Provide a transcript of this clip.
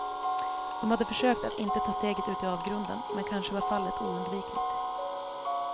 De hade försökt att inte ta steget ut i avgrunden, men kanske var fallet oundvikligt.